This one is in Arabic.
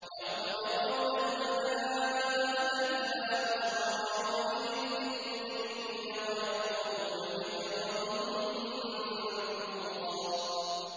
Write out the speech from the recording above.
يَوْمَ يَرَوْنَ الْمَلَائِكَةَ لَا بُشْرَىٰ يَوْمَئِذٍ لِّلْمُجْرِمِينَ وَيَقُولُونَ حِجْرًا مَّحْجُورًا